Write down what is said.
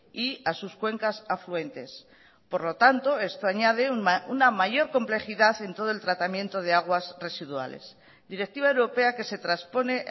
y a sus cuencas afluentes por lo tanto esto añade una mayor complejidad en todo el tratamiento de aguas residuales directiva europea que se traspone